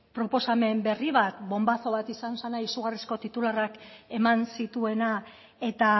proposamen berri bat bonbazo bat izan zena izugarrizko titularrak eman zituena eta